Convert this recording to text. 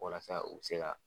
Walasa u bi se ka